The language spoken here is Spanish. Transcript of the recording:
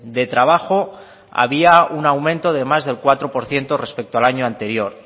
de trabajo había un aumento de más del cuatro por ciento respecto al año anterior